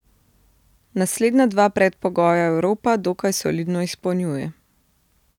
Naslednja dva predpogoja Evropa dokaj solidno izpolnjuje.